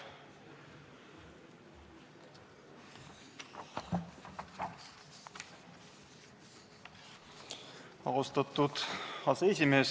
Austatud aseesimees!